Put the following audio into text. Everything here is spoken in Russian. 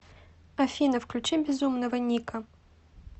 афина включи безумного ника